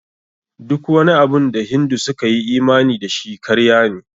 Duk wani abun da Hindu suka yi imani da shi, karya ne.